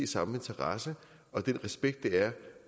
samme interesse og den respekt det er